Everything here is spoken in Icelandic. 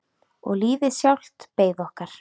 Og lífið sjálft beið okkar.